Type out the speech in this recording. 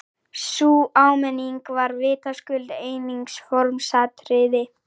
Sú áminning var vitaskuld einungis formsatriði!